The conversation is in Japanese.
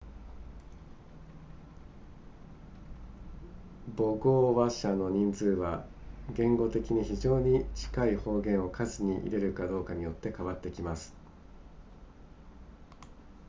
母語話者の人数は言語的に非常に近い方言を数に入れるかどうかによって変わってきます